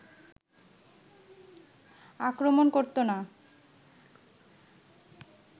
আক্রমণ করতো না